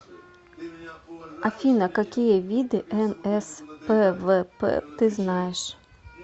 афина какие виды нспвп ты знаешь